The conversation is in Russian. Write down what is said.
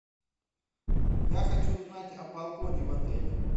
я хочу узнать о балконе в отеле